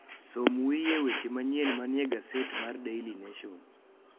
som wiye weche manyien manie gaset mar daily nation